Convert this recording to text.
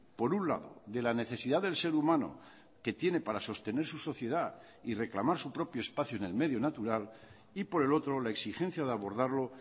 por un lado de la necesidad del ser humano que tiene para sostener su sociedad y reclamar su propio espacio en el medio natural y por el otro la exigencia de abordarlo